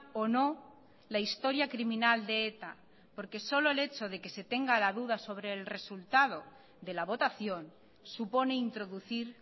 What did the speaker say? o no la historia criminal de eta porque solo el hecho de que se tenga la duda sobre el resultado de la votación supone introducir